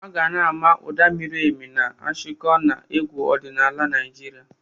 Aga na-ama ụda miri emi nke Ashiko na egwu ọdịnala Naịjirịa.